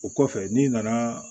O kɔfɛ n'i nana